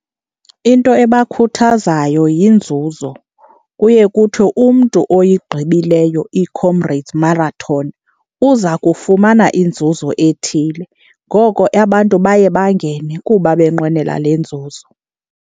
Into ebakhuthazayo yinzuzo. Kuye kuthiwe umntu oyigqibileyo iComrades Marathon uza kufumana inzuzo ethile, ngoko abantu baye bangene kuba benqwenela le nzuzo.